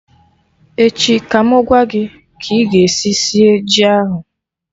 Echi ka mụ gwa gị ka ị ga esi sie ji ahụ